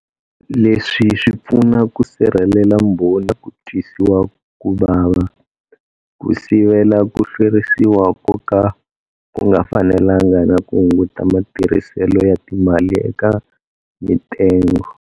Leswi swi pfuna ku sirhelela mbhoni eka ku twisiwa ku vava, ku sivela ku hlwerisiwa ko ka ku nga fanelanga na ku hunguta matirhiselo ya timali eka mitengo.